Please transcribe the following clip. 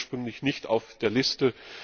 Das stand ursprünglich nicht auf der Liste.